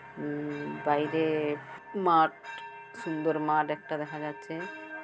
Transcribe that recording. উম বাইরে মাঠ সুন্দর মাঠ একটা দেখা যাচ্ছে।